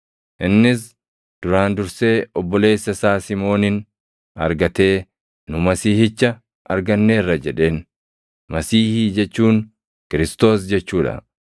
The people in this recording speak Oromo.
Innis duraan dursee obboleessa isaa Simoonin argatee, “Nu Masiihicha arganneerra” jedheen; Masiihii jechuun Kiristoos jechuu dha.